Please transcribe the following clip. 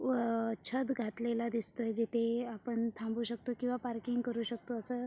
व अ छत घातलेल दिसतय जिथे आपण थांबू शकतो किंवा पार्किंग करु शकतो असं.